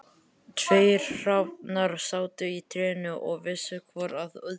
Tveir hrafnar sátu í trénu og vissu hvor að öðrum.